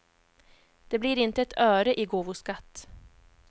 Det blir inte ett öre i gåvoskatt.